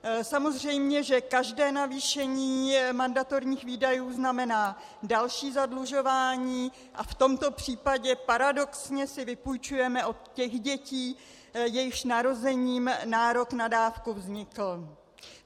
Samozřejmě že každé navýšení mandatorních výdajů znamená další zadlužování a v tomto případě paradoxně si vypůjčujeme od těch dětí, jejichž narozením nárok na dávku vznikl.